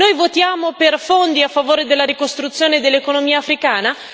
Noi votiamo per fondi a favore della ricostruzione dell'economia africana?